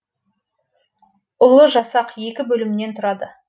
ұлы жасақ екі бөлімнен тұрады